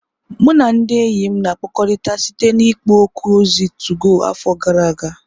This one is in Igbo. Mụ na ndị enyi m na-akpakọrịta site na ikpo okwu ozi 2go afọ gara aga.